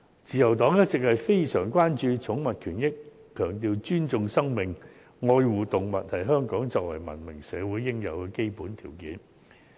自由黨一直非常關注寵物權益，強調"尊重生命、愛護動物"是香港作為文明社會應有的基本條件。